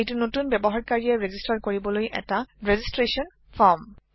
এইটো নতুন ব্যবহাৰকাৰীয়ে ৰেজিষ্টাৰ কৰিবলৈ এটা ৰেজিষ্ট্ৰেচন ৰ্ফম